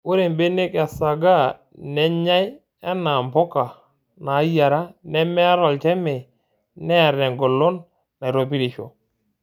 Ore mbenek esaaga nenyay enaa mpuka naayiara nemeata olchamei neata engolon naitopirisho.